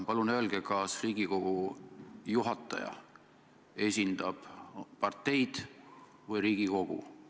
Palun öelge, kas Riigikogu juhataja esindab parteid või Riigikogu?